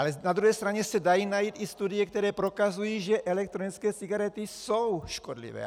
Ale na druhé straně se dají najít i studie, které prokazují, že elektronické cigarety jsou škodlivé.